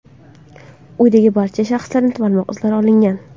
Uydagi barcha shaxslarning barmoq izlari olingan.